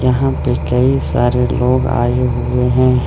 यहां पे कई सारे लोग आए हुए हैं।